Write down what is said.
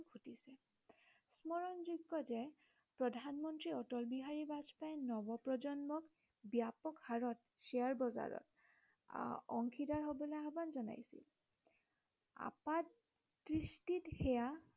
স্মৰণযোগ্য় যে প্ৰধানমন্ত্ৰী অটল বিহাৰী বাজপেয়ী নৱপ্ৰজন্মক ব্য়াপক হাৰত শ্বেয়াৰ বজাৰত আহ অংশীদাৰ হবলৈ আহ্বান জনাইছিল। আপাতদৃষ্টিত সেয়া